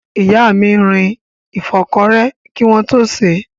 Ìyá mi rin ìfọ́kọrẹ́ kí wọ́n tó sèé.